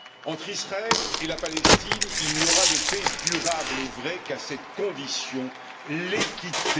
Entre Israël et la Palestine, il n'y aura de paix durable et vraie qu'à cette condition l'équité.